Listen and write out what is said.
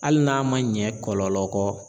Hali n'a ma ɲɛ kɔlɔlɔ kɔ.